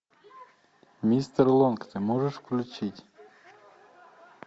мистер лонг ты можешь включить